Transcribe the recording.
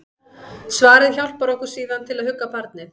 Svarið hjálpar okkur síðan til að hugga barnið.